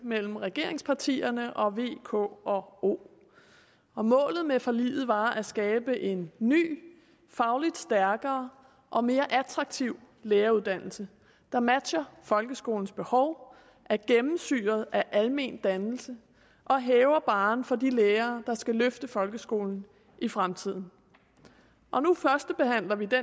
mellem regeringspartierne og v k og o målet med forliget var at skabe en ny fagligt stærkere og mere attraktiv læreruddannelse der matcher folkeskolens behov er gennemsyret af almendannelse og hæver barren for de lærere der skal løfte folkeskolen i fremtiden og nu førstebehandler vi det